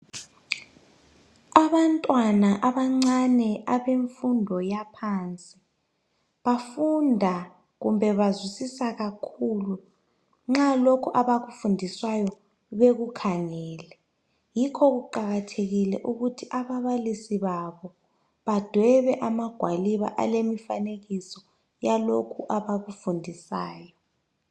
Abantwana abancane abemfundo yaphansi bafunda kumbe bazwisisa kakhulu nxa lokhu abakufundiswayo bekukhangele yikho kuqakathekile ukuthi ababalisi babo badwebe amagwaliba alemifanekiso yalokhu abakufundisayo.